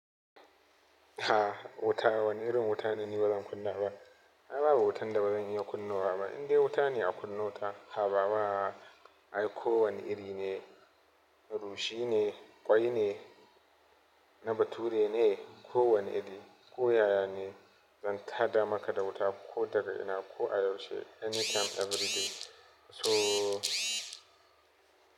A'a wuta, wani irin wuta ne ni bazan kunna ba. Ai babu wutan da zan iya kunnawa ba. Indai wuta ne aka nuna ta, habawa. Ai ko wani iri ne, garwashi ne, ƙwai ne na bature ne, ko wani iri, ko yaya ne zan tada maka da wuta ko daga ina, ko a yaushe any time everyday. So.